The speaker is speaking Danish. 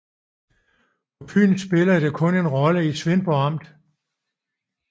På Fyn spillede det kun en rolle i Svendborg Amt